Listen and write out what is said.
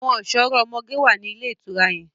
Àwọn ọ̀ṣọ́rọ́ ọmọge wà ní ilé ìtura yẹn.